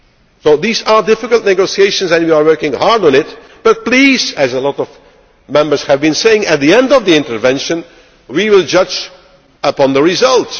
So these are difficult negotiations and we are working hard on it but please, as a lot of Members have been saying at the end of the intervention, judge on the result.